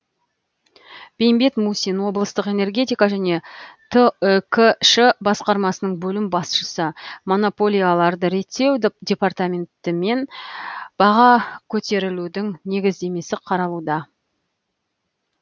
бейімбет мусин облыстық энергетика және түкш басқармасының бөлім басшысы монополияларды реттеу департаментімен баға көтерілудің негіздемесі қаралуда